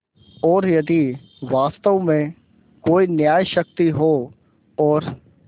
और यदि वास्तव में कोई न्यायशक्ति हो और